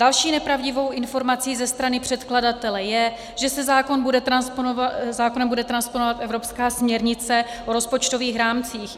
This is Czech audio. Další nepravdivou informací ze strany předkladatele je, že se zákonem bude transponovat evropská směrnice o rozpočtových rámcích.